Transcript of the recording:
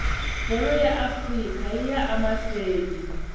bholo ya afrika yiya amahleni